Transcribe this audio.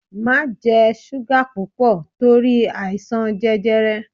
Má jẹ súgà púpọ̀ torí àìsàn jẹjẹrẹ!